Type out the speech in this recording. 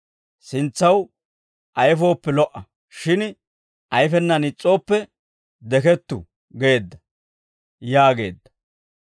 Sintsaw ayfooppe lo"a; shin ayfenaan is's'ooppe dekettu› geedda» yaageedda.